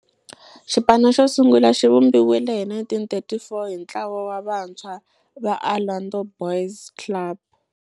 Xipano xo sungula xivumbiwile hi 1934 hi ntlawa wa vantshwa va Orlando Boys Club.